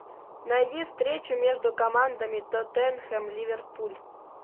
найди встречу между командами тоттенхэм ливерпуль